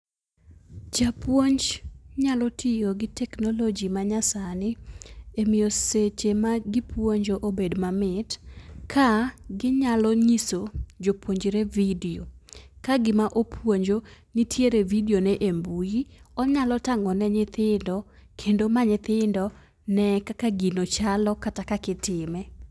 Japuonj nyalo tiyo gi teknoloji manyasani, e miyo seche magipuonjo obed mamit, ka ginyalo nyiso jopuonjre vidio. Kagima opuonjo nitiere vidione e mbui, onyalo tang'o ne nyithindo, kendo ma nyithindo ne kaka gino chalo kata kaka itime.